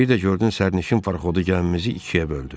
Bir də gördün sərnişin parxodu gəmimizi ikiyə böldü.